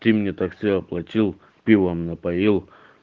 ты мне так все оплатил пивом напоил